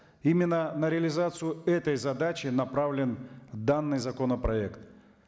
именно на реализацию этой задачи направлен данный законопроект